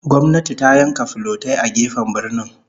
Gwamnati ta yanka filotai a gefen birnin